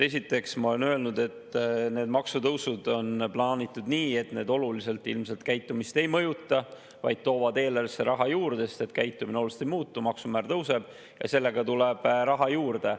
Esiteks, ma olen öelnud, et need maksutõusud on plaanitud nii, et need oluliselt ilmselt käitumist ei mõjuta, vaid toovad eelarvesse raha juurde, sest käitumine oluliselt ei muutu, maksumäär tõuseb ja sellega tuleb raha juurde.